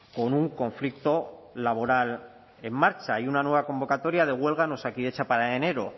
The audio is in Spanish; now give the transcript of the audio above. con un conflicto laboral en marcha y una nueva convocatoria de huelga en osakidetza para enero